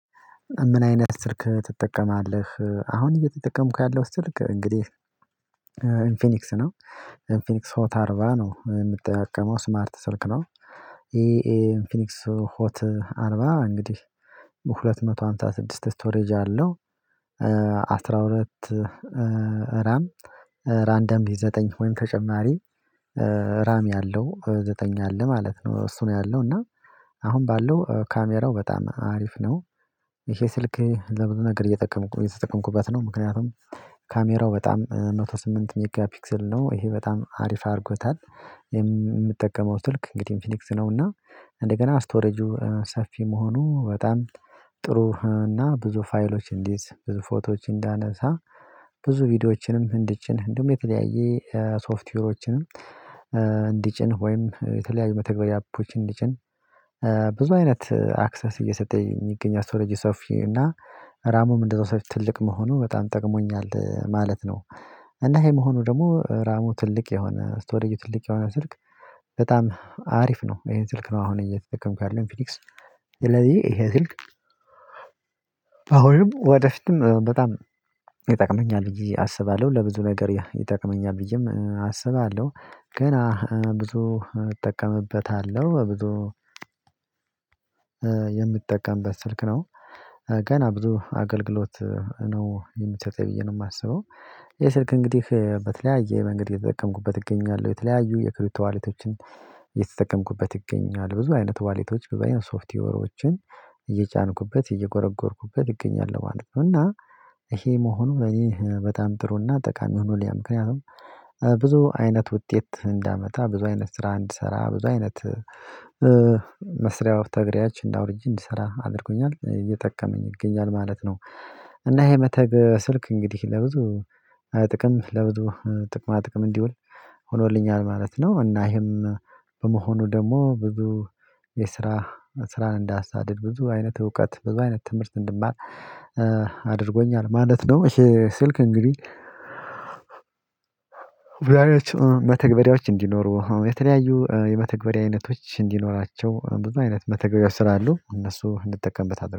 ምን አይነት ስልክ ትጠቀማለህ? አሁን እየተጠቀምኩ ያለው ስልክ እንግዲህ ኢንፊኒክስ ነው ኢንፊኒክስ ሆት አርባ ነው ምጠቀመው ስማርት ስልክ ነው። ይሄ ኢንፊኒክስ ሆት አርባ እንግዲህ ሁለት መቶ ሃምሳ ስድስት ስቶሬጅ አለው። አስራ ሁለት ራም ራንደም ዘጠኝ ወይም ተጨማሪ ራሚ አለው ዘጠኝ አለ ማለት ነው እሱን ያለው እና አሁን ባለው ካሜራው በጣም አሪፍ ነው። ይሄ ስልክ ለምን ነገር እየተጠቀምኩኝ የተጠቀምኩበት ነው ምክንያቱም ካሜራው በጣም አንድ መቶ ስምንት ሚጋ ፒክስል ነው ይሄ በጣም አሪፍ አድርጎታል ምጠቀመው ስልክ እንግዲህ ኢንፊኒክስ ነው። እና እንደገና ስቶሬጁ ሰፊ መሆኑ በጣም ጥሩ እና ብዙ ፋይሎች እንድይዝ ብዙ ፎቶዎች እንዳነሳ ብዙ ቪዲዮዎችንም እንድጭን እንዲሁም የተለያየ ሶፍትዌሮችንም እንዲጭን ወይም የተለያዩ መተግበያዎችን እንዲጭን ብዙ አይነት አክሰስ እየሰጠኝ የሚገኝ ስቶሬጁ ሰፊ እና ራሙም እንደዛው ሰፊ ትልቅ መሆኑ በጣም ጠቅሞኛል ማለት ነው። እና ይሄ መሆኑ ደግሞ ራሙ ትልቅ የሆነ ስቶሬጁ ትልቅ የሆነ ስልክ በጣም አሪፍ ነው ይሄን ስልክ ነው አሁን እየተጠቀምኩ ያለሁት። ኢንፊኒክስ ስለዚህ ይሄ ስልክ አሁንም ወደፊትም በጣም ይጠቅመኛል ብዬ አስባለሁ ለብዙ ነገር ይጠቅመኛል ብዬም አስባለሁ ገና ብዙ እጠቀምበታለሁ። በብዙ የምጠቀምበት ስልክ ነው። ገና ብዙ አገልግሎት ነው የሚሰጠኝ ብዬ ነው ማስበው። ይህ ስልክ እንግዲህ በተለያየ መንገድ የተጠቀምኩበት እገኛለሁ። የተለያዩ የክሪፕቶ ዋሌቶችን እየተጠቀምኩበት እገኛለው። ብዙ አይነት ዋሌቶች ብዙ አይነት ሶፍትዌሮችን እየጫንኩበት እየጎረጎርኩበት እገኛለሁ ማለት ነው። እና ይሄ መሆኑ በኔ በጣም ጥሩና ጠቃሚ ሆኖልኛል። ምክንያቱም ብዙ አይነት ውጤት እንዳመጣ ብዙ አይነት ስራ እንድሰራ ብዙ አይነት መስሪያ መተግበሪያዎችን አውርጄ እንድሰራ አድርጎኛል እየጠቀመኝ ይገኛል ማለት ነው። እና ይሄ መተግ ስልክ እንግዲህ ለብዙ ጥቅም ለብዙ ጥቅማ ጥቅም እንዲውል ሆኖልኛል ማለት ነው እና ይሄም በመሆኑ ደግሞ ብዙ የስራ ስራን እንዳሳድድ ብዙ አይነት እውቀት ብዙ አይነት ትምህርት እንድማር አድርጎኛል ማለት ነው። ይሄ ስልክ እንግዲህ መተግበሪያዎች እንዲኖሩ የተለያዩ የመተግበሪያ አይነቶች እንዲኖራቸው ብዙ አይነት መተግበሪያ ስራ አሉ እነሱ እንጠቀምበታለን።